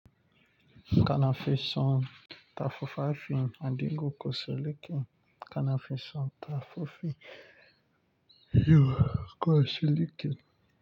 Kana fisun tafafa fin addin go kosoleken kana fisun tafafa yo kosoleken.